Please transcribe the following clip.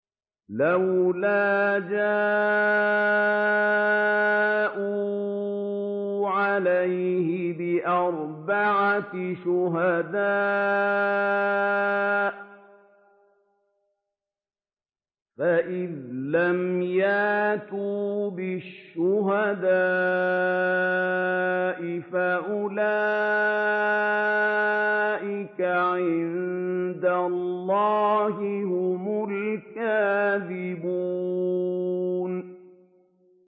لَّوْلَا جَاءُوا عَلَيْهِ بِأَرْبَعَةِ شُهَدَاءَ ۚ فَإِذْ لَمْ يَأْتُوا بِالشُّهَدَاءِ فَأُولَٰئِكَ عِندَ اللَّهِ هُمُ الْكَاذِبُونَ